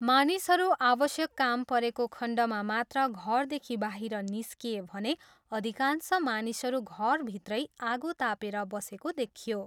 मानिसहरू आवश्यक काम परेको खण्डमा मात्र घरदेखि बाहिर निस्किए भने अधिकांश मानिसहरू घरभित्रै आगो तापेर बसेको देखियो।